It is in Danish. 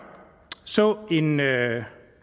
så en